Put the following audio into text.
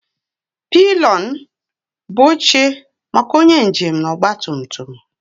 Pilion bụ oche maka onye njem na ọgba tum tum